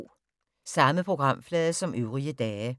Samme programflade som øvrige dage